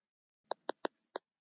Frægasti njósnarinn í banka